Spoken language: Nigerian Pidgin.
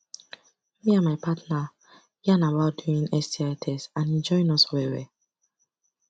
me and my partner yarn about doing sti test and e join us well well